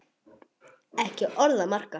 Ekki orð að marka.